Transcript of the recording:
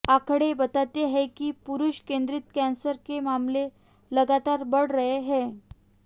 आंकड़े बताते हैं कि पुरूष केंद्रित कैंसर के मामले लगातार बढ़ रहे हैं